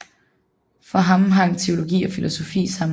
For ham hang teologi og filosofi sammen